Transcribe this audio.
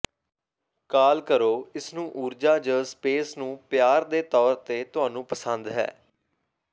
ਕਾਲ ਕਰੋ ਇਸ ਨੂੰ ਊਰਜਾ ਜ ਸਪੇਸ ਨੂੰ ਪਿਆਰ ਦੇ ਤੌਰ ਤੇ ਤੁਹਾਨੂੰ ਪਸੰਦ ਹੈ